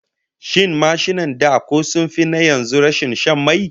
Shin mashinan da ko sun fi na yanzu rashin shan mai?